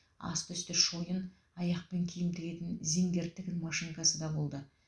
асты үсті шойын аяқпен киім тігетін зингер тігін машинкасы да болды